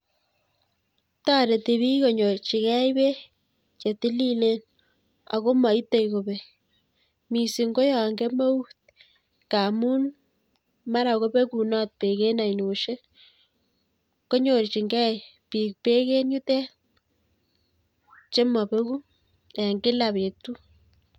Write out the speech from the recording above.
Toreti bik konyorchikei bek chetililen Ako maitei akobek. Mising ko yon kemeut ngamun mara kobekunot bek en ainodiek. Konyorjingei bik bek en yutet che mabeku eng Kila betut